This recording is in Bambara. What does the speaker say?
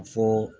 A fɔ